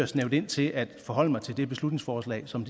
snævre det ind til at forholde mig til det beslutningsforslag som